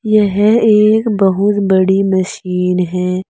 यह एक बहुत बड़ी मशीन है।